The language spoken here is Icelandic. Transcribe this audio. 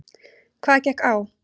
Hvað gekk á?